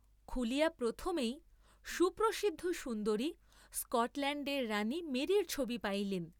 খুলিয়া প্রথমেই সুপ্রসিদ্ধ সুন্দরী স্কটল্যাণ্ডের রাণী মেরীর ছবি পাইলেন।